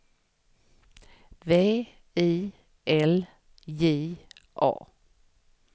V I L J A